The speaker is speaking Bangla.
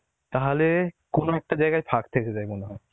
তাহলে কোন একটা জায়গায় ফাক থেকে যায় মনে হয়